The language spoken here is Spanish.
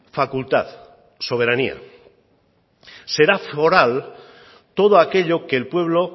facultad soberanía será foral todo aquello que el pueblo